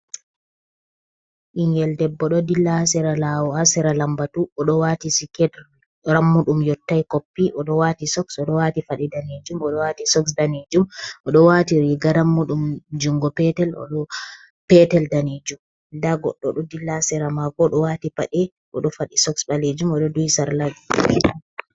Ingel debbo ɗo dilla asira lawo asira lambatu oɗo wati siketel rammuɗum yottai koppi oɗo wati soks oɗo wati fadi danijum odo wati soks danijum oɗo wati riga rammuɗum jungo petel odo petel danijum da goɗdo ɗo dilla asira mako oɗo wati pade oɗo fadi sok balejum oɗo dui sarlajijmete.